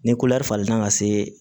Ni falen na ka se